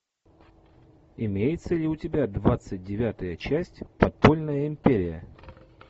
имеется ли у тебя двадцать девятая часть подпольная империя